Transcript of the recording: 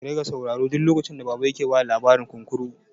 Ku riƙa saurara duk lokacin da baba yake bada labarin kunkuru!